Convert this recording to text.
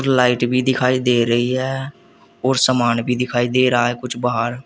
Light भी दिखाई दे रही है और समान भी दिखाई दे रहा है कुछ बाहर।